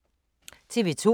TV 2